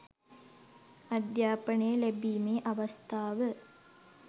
අධ්‍යාපනය ලැබීමේ අවස්ථාව